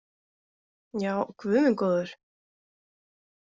Já, guð minn góður.